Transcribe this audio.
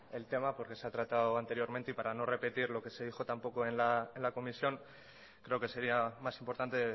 el tema porque se ha tratado anteriormente y para no repetir lo que se dijo tampoco en la comisión creo que sería más importante